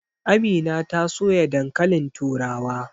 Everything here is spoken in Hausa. Amina ta soya dankalin turawa.